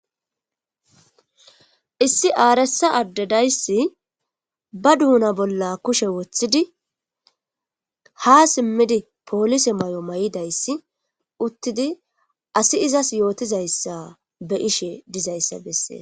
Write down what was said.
Issi aaressa addedayssi ba duuna bolla kushe woththidi ha simmidi poolise may7o may7idayssi uttidi asi izas yootizayssa be ishe dizayssa bessee